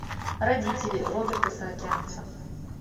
родители роберта саакянца